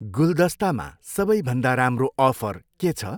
गुलदस्तामा सबैभन्दा राम्रो अफर के छ?